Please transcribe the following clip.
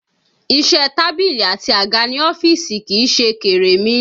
Iṣẹ́ tábìlì àti àga ní ọ́fíìsì kìí ṣe kèremí